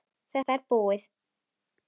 Þetta er búið!